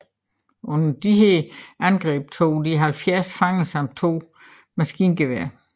Under disse angreb tog de 70 fanger samt to maskingeværer